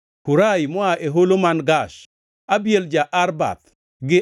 Hurai moa e holo man Gash, Abiel ja-Arbath, gi